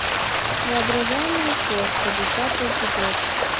воображаемая кошка десятый эпизод